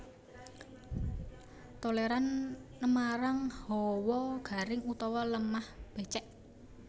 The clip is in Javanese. Tolèran nmarang hawa garing utawa lemah bècèk